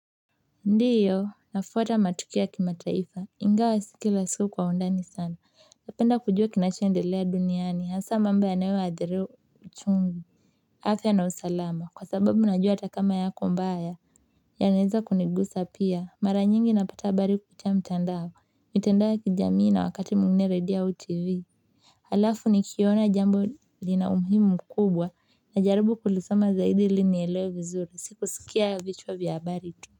Ndio nafuata matukio ya kimataifa ingawa si kila siku kwa undani sana napenda kujua kinacho endelea duniani hasa mambo yanayo athiri uchumi afya na usalama kwa sababu najua hata kama yako mbaya yanaweza kunigusa pia mara nyingi napata habari kupitia mtandao mitandao ya kijamii na wakati mwingine redio au TV alafu nikiona jambo lina umuhimu mkubwa na jaribu kulisoma zaidi ili nielewe vizuri si kusikia vichwa vya habari tu.